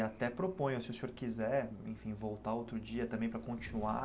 E até proponho, se o senhor quiser, enfim, voltar outro dia também para continuar.